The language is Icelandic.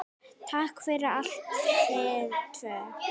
Takk fyrir allt, þið tvö.